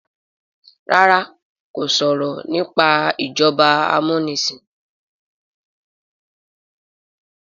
ràrá kò sọrọ nipa ìjọba amunisin.